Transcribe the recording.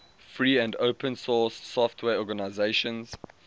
free and open source software organizations